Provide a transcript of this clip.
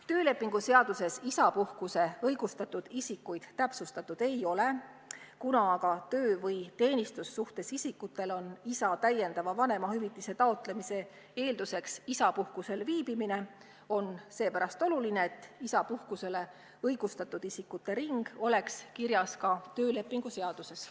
Töölepingu seaduses isapuhkuseks õigustatud isikuid täpsustatud ei ole, kuna aga töö- või teenistussuhtes isikutel on isa täiendava vanemahüvitise taotlemise eelduseks isapuhkusel viibimine, on oluline, et isapuhkuseks õigustatud isikute ring oleks kirjas ka töölepingu seaduses.